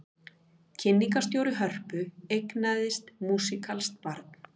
Kynningarstjóri Hörpu eignaðist músíkalskt barn